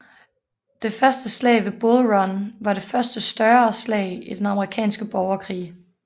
Det første slag ved Bull Run var det første større slag i den amerikanske borgerkrig